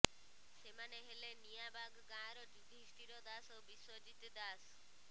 ସେମାନେ ହେଲେ ନିଆଁବାଗ୍ ଗାଁର ଯୁଧିଷ୍ଠିର ଦାସ ଓ ବିଶ୍ୱଜିତ୍ ଦାସ